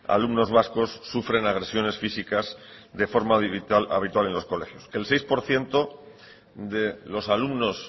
alumnos vascos sufren agresiones físicas de forma habitual en los colegios el seis por ciento de los alumnos